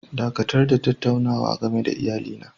Dakatar da tattaunawa game da iyalina!!